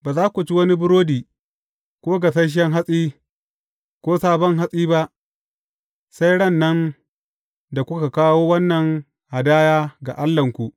Ba za ku ci wani burodi, ko gasasshen hatsi, ko sabon hatsi ba, sai ran nan da kuka kawo wannan hadaya ga Allahnku.